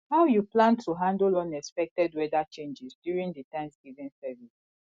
how you plan to handle unexpected weather changes during di thanksgiving service